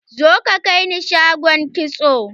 Zo ka kaini shagon kitso!